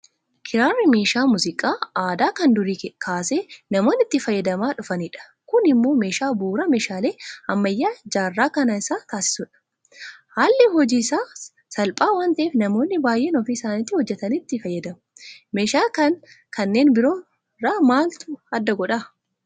Kiraarri meeshaa muuziqaa aadaa kan durii kaasee namoonni itti fayyadamaa dhufanidha. Kun immoo meeshaa bu'uuraa meeshaalee ammayyaa jaarraa kanaa isa taasisa. Haalli hojii isaas salphaa waanta'eef namoonni baay'een ofii isaaniitii hojjetanii itti fayyadamu. Meeshaa kana kanneen biroo irraa maaltu adda godha?